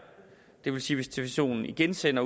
det vil sige stationen igen sender